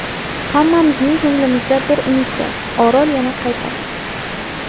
Hammamizning ko‘nglimizda bir umid bor Orol yana qaytadi!